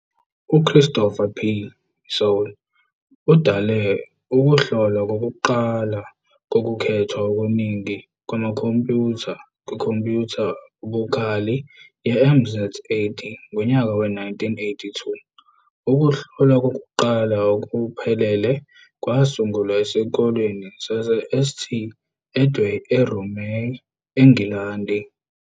UChristopher P. Sole udale ukuhlolwa kokuqala kokukhethwa okuningi kwamakhompyutha kwikhompyutha ebukhali ye-MZ 80 ngonyaka we-1982 ] Ukuhlolwa kokuqala okuphelele kwasungulwa esikoleni saseSt Edway eRomay, eNgilandi.